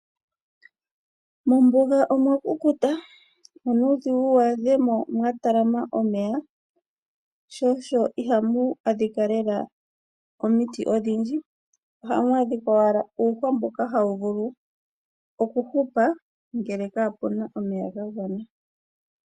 Mombuga omwa kukuta, onuudhigu wu adhemo mwa talama omeya, sho osho ihamu adhika lela omiti odhindji. Ohamu adhika owala uuhwa mboka hawu vulu okuhupa, ngele kapuna omeya ga gwana.